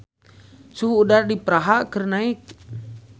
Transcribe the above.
Suhu udara di Praha keur naek